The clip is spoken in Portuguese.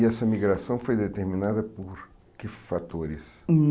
E essa migração foi determinada por que fatores? Hum